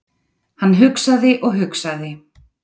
Hann hugsaði og hugsaði.